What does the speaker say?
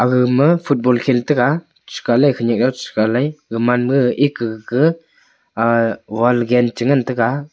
aga ma football khel taga chikaile khanyak au chi kailai gagman ma eka gag ah wall gan che ngan taiga.